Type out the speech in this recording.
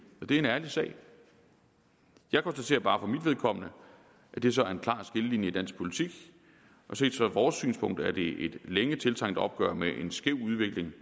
det er en ærlig sag jeg konstaterer bare for mit vedkommende at det så er en klar skillelinje i dansk politik og set fra vores synspunkt er det et længe tiltrængt opgør med en skæv udvikling